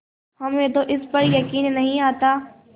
हमें तो इस पर यकीन नहीं आता